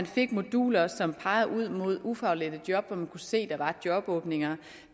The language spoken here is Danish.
fik moduler som pegede ud mod ufaglærte job hvor man kunne se der var jobåbninger